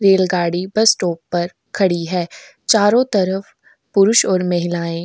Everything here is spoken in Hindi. रेलगाड़ी बस स्टॉप पर खड़ी है। चारों तरफ पुरुष और महिलाएं --